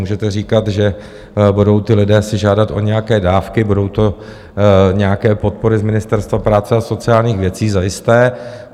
Můžete říkat, že budou ti lidé si žádat o nějaké dávky, budou to nějaké podpory z Ministerstva práce a sociálních věcí, zajisté.